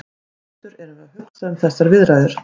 Sem sendur erum við að hugsa um þessar viðræður.